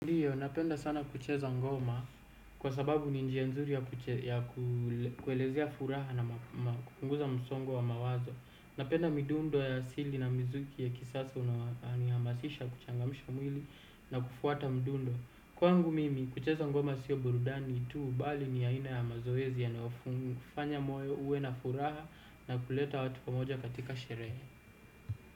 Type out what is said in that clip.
Napenda sana kucheza ngoma kwa sababu ni njia nzuri ya kuelezea furaha na kupunguza msongo wa mawazo. Napenda midundo ya asili na mizuki ya kisasa unahamasisha kuchangamisha mwili na kufuata midundo. Kwangu mimi kucheza ngoma sio burudani tu bali ni ya ina ya mazoezi yanayofanya kufanya moyo ue na furaha na kuleta watu pamoja katika sherehe.